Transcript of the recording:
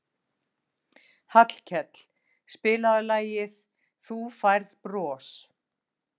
Hallkell, spilaðu lagið „Þú Færð Bros“.